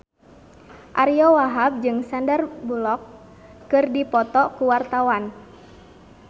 Ariyo Wahab jeung Sandar Bullock keur dipoto ku wartawan